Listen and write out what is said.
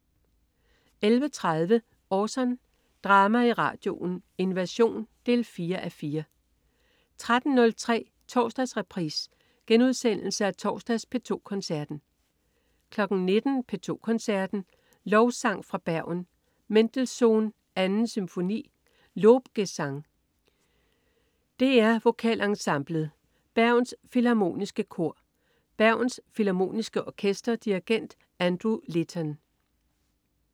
11.30 Orson. Drama i radioen: Invasion 4:4 13.03 Torsdagsreprise. Genudsendelse af torsdags P2 Koncerten 19.00 P2 Koncerten. Lovsang fra Bergen. Mendelssohn: 2. Symfoni, Lobgesang. DR Vokalensemblet. Bergens Filharmoniske Kor. Bergens Filharmoniske Orkester. Dirigent: Andrew Litton